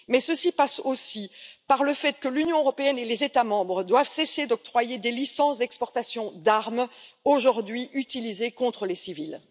Mais ceci passe aussi par le fait que l'Union européenne et les États membres doivent cesser d'octroyer des licences d'exportation d'armes, aujourd'hui utilisées contre les civils.